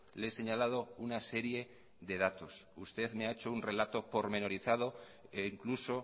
le he señalado una serie de datos usted me ha hecho un relato pormenorizado e incluso